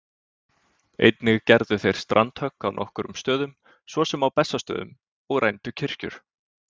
Einnig gerðu þeir strandhögg á nokkrum stöðum, svo sem á Bessastöðum, og rændu kirkjur.